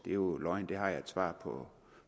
er jo løgn det har jeg et svar på